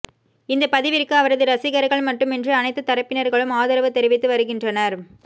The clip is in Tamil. இந்த பதிவிற்கு அவரது ரசிகர்கள் மட்டுமின்றி அனைத்து தரப்பினர்களும் ஆதரவு தெரிவித்து வருகின்றனர்